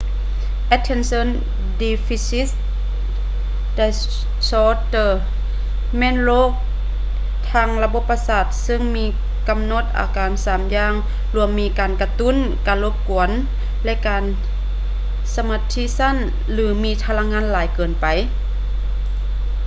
attention deficit disorder ແມ່ນໂຣກທາງລະບົບປະສາດເຊິ່ງມີການກຳນົດອາການສາມຢ່າງລວມມີການກະຕຸ້ນ ການລົບກວນ ແລະ ການສະມາທິສັ້ນ ຫຼື ມີພະລັງງານຫຼາຍເກີນໄປ